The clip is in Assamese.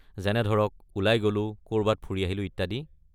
যেনে ধৰক, ওলাই গ’লো, কৰবাত ফুৰি আহিলো, ইত্যাদি।